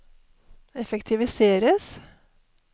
effektiviseres